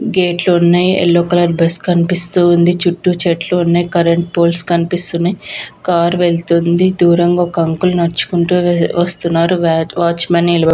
గేట్లు లు ఉన్నాయ్ యెల్లో కలర్ బస్ కనిపిస్తూ వుంది చుట్టూ చెట్లు వున్నాయ్ కరెంట్ పోల్స్ కనిపిస్తూ ఉన్నాయ్ కార్ వెళ్ళుతుంది దూరంగా ఒక అంకుల్న డుచుకుంటూ వేల్లుతునాడు వాచ్ మాన్ నిలబడి --